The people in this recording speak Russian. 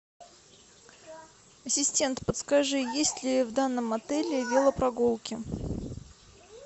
ассистент подскажи есть ли в данном отеле велопрогулки